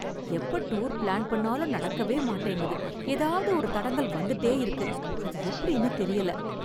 எப்ப tour plan பண்ணாலும் நடக்கவே மாட்டேங்குது ஏதாவது ஒரு தடங்கல் வந்துட்டே இருக்கு அது எப்படின்னு தெரியல .